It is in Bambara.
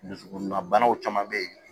Dusukunna banaw caman bɛ yen